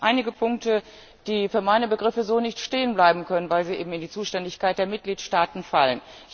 Dennoch gibt es einige Punkte, die für meine Begriffe so nicht stehen bleiben können, weil sie eben in die Zuständigkeit der Mitgliedstaaten fallen.